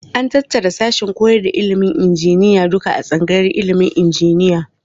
An tattara sassan koyar da ilimin injiniya duka a tsangayar ilimin injiniya.